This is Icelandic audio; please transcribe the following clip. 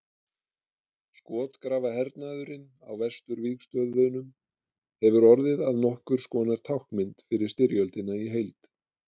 Skotgrafahernaðurinn á vesturvígstöðvunum hefur orðið að nokkurs konar táknmynd fyrir styrjöldina í heild.